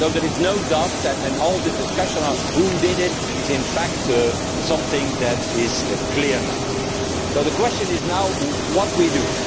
So there is no doubt and all this discussion on who did it is in fact something that is clear now. The question is now, what do we